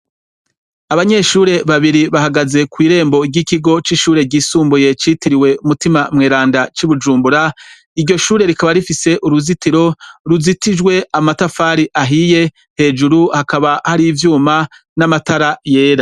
Abanyeshure babiri bahagaze kw' irembo ry'Ikigo c'Ishure Ryisumbuye Citiriwe Mutima Mweranda c'i Bujumbura. Iryo shure rikaba rifise uruzitiro ruzitijwe amatafari ahiye; hejuru hakaba hari ivyuma n'amatara yera.